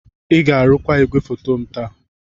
Ị ga-arụkwa igwefoto m taa!